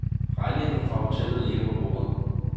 Regningen fra hotellet ligger på bordet.